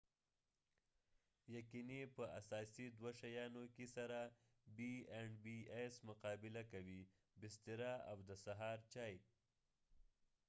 ، b&bs یقینی په اساسی دوه شيانو کې سره مقابله کوي :بستره او د سهار چای